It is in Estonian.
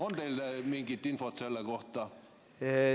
On teil mingit infot selle kohta?